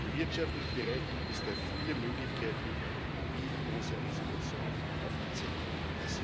Im wirtschaftlichen Bereich gibt es da viele Möglichkeiten, wie in unser Entschließung aufgezeigt wird.